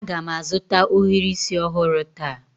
Aga m azụta ohiri isi ọhụrụ taa